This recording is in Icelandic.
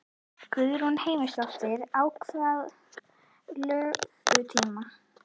Guðrún Heimisdóttir: Á hvað löngum tíma?